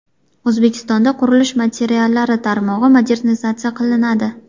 O‘zbekistonda qurilish materiallari tarmog‘i modernizatsiya qilinadi.